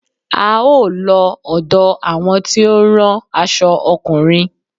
A ó lọ ọ̀dọ àwọn tí ó ń rán aṣo ọkùnrin.